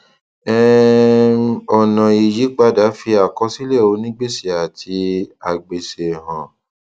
um ọnà ìyípadà fi àkọsílẹ onígbèsè àti agbèsè hàn